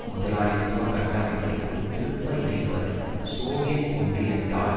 முதலாளித்துவ கட்டமைப்பிற்குள் திருப்ப இணைப்பதற்கும் சோவியத் ஒன்றியத்தால்